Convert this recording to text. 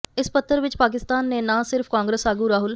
ਇਸ ਪੱਤਰ ਵਿਚ ਪਾਕਿਸਤਾਨ ਨੇ ਨਾ ਸਿਰਫ ਕਾਂਗਰਸ ਆਗੂ ਰਾਹੁਲ